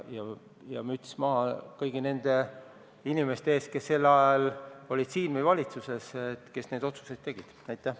Ja müts maha kõigi nende inimeste ees, kes sel ajal olid siin saalis või valitsuses, kes neid otsuseid tegid!